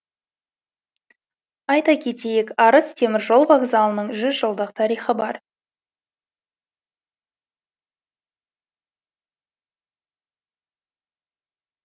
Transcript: айта кетейік арыс теміржол вокзалының жүз жылдық тарихы бар